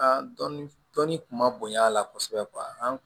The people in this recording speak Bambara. An dɔn dɔnni kun ma bonya a la kosɛbɛ an